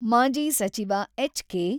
ಮಾಜಿ ಸಚಿವ ಎಚ್.ಕೆ.